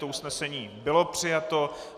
To usnesení bylo přijato.